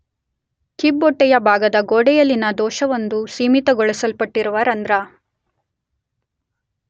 ಕಿಬ್ಬೊಟ್ಟೆಯ ಭಾಗದ ಗೋಡೆಯಲ್ಲಿನ ದೋಷವೊಂದು ಸೀಮಿತಗೊಳಿಸಲ್ಪಟ್ಟಿರುವ ರಂಧ್ರ